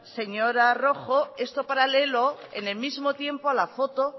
señora rojo esto paralelo en el mismo tiempo a la foto